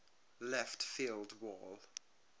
left field wall